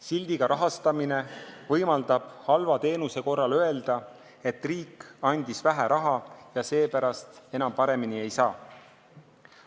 Sildiga rahastamine võimaldab halva teenuse korral öelda, et riik andis vähe raha ja seepärast paremini ei saa.